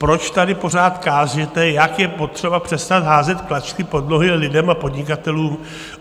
Proč tady pořád kážete, jak je potřeba přestat házet klacky pod nohy lidem a podnikatelům?